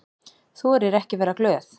Þorir ekki að vera glöð.